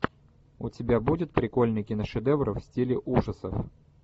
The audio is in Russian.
у тебя будет прикольный киношедевр в стиле ужасов